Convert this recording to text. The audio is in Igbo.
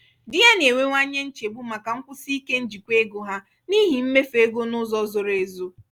di ya na-enwewanye nchegbu maka nkwụsi ike njikwa ego ha n'ihi mmefu ego n'ụzọ zoro ezo.